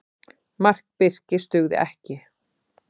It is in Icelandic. Mark Birkis dugði ekki